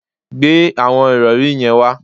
Gbe àwọn ìrọ̀rí yẹn wá